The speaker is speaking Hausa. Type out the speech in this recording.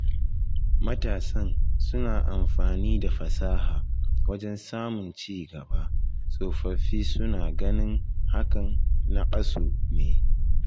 Matasan suna amfani da fasaha wajen samun ci gaba, tsofaffi suna ganin hakan naƙasu ne